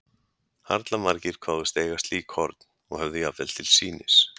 Harla margir kváðust eiga slík horn, og höfðu jafnvel til sýnis.